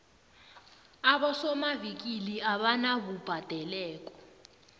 abosomavikili abanabubhadekelo